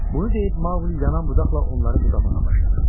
Bunu deyib Maquli yanan budaqla onları budamağa başladı.